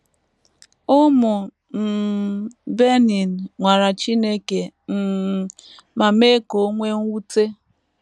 Ụmụ um Benin ‘ nwara Chineke ’ um ma mee ka o nwee mwute.